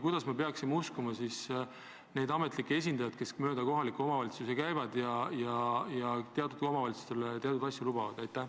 Kuidas me ikkagi saame uskuda neid ametlikke esindajaid, kes mööda kohalikke omavalitsusi käivad ja teatud omavalitsustele teatud asju lubavad?